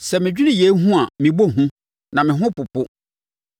Sɛ medwene yei ho a, mebɔ hu; na me ho popo.